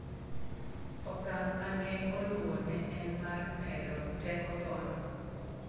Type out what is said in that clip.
Okang' ma ne oluwo ne en mar medo teko tho no